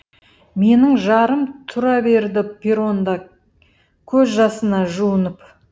менің жарым тұра берді перронда көз жасына жуынып